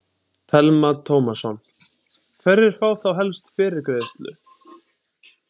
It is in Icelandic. Telma Tómasson: Hverjir fá þá helst fyrirgreiðslu?